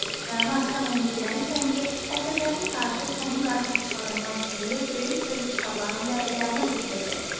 Rəna, sən onu bilməlisən ki, əsrlərin tarixi sənin qara saçlarından süzülüb, böyük-böyük kitabların vərəqlərinə töküləcək.